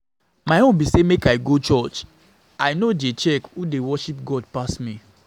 My own be say make I go church, I no get time to dey check who dey worship God pass